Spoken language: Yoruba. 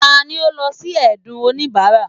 tani o lọ si ẹdun onibara?